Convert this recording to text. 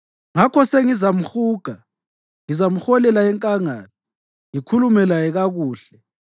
“Ngakho sengizamhuga; ngizamholela enkangala ngikhulume laye kakuhle.